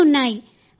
అన్నీ ఉన్నాయి